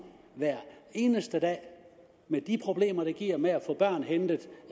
hver eneste dag med de problemer det giver med at få børn hentet